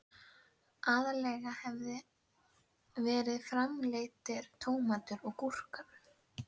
Aðallega hafa verið framleiddir tómatar og gúrkur.